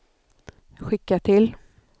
skicka till